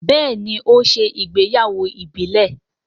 béèni o ṣe ìgbéyàwó ìbílè..